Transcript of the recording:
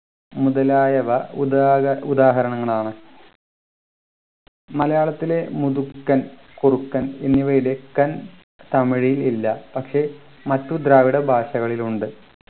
മുതലായവ ഉദാഹ ഉദാഹരണങ്ങളാണ് മലയാളത്തിലെ മുതുക്കൻ കുറുക്കൻ എന്നിവയിലെ ക്കൻ തമിഴിൽ ഇല്ല പക്ഷെ മറ്റു ദ്രാവിഡ ഭാഷകളിൽ ഉണ്ട്